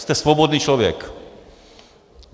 Jste svobodný člověk!